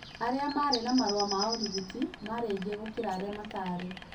Arĩa maarĩ na marũa ma ũrigiti marĩ aingĩ gũkĩra arĩa matarĩ